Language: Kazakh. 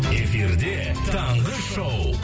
эфирде таңғы шоу